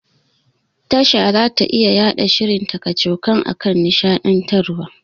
Tasha zata iya yaɗa shirin ta kacokan akan nishaɗantarwa.